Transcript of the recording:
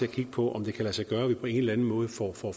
at kigge på om det kan lade sig gøre at vi på en eller anden måde får